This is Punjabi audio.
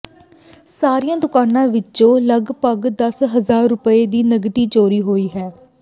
ਸਾਰੀਆਂ ਦੁਕਾਨਾਂ ਵਿੱਚੋਂ ਲਗਪਗ ਦਸ ਹਜ਼ਾਰ ਰੁਪਏ ਦੀ ਨਕਦੀ ਚੋਰੀ ਹੋਈ ਹੈ